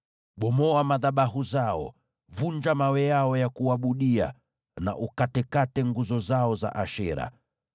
Bomoa madhabahu yao, vunja mawe yao ya kuabudia na ukatekate nguzo zao za Ashera.